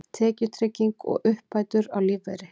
Tekjutrygging og uppbætur á lífeyri.